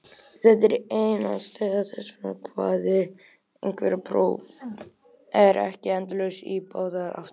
Þetta er ein ástæða þess að kvarði greindarprófa er ekki endalaus í báðar áttir.